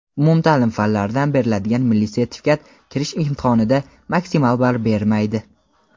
Umumta’lim fanlaridan beriladigan milliy sertifikat kirish imtihonida maksimal ball bermaydi.